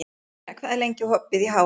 Baldína, hvað er lengi opið í HR?